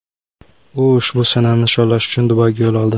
U ushbu sanani nishonlash uchun Dubayga yo‘l oldi.